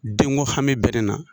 Denko hami bɛ ne na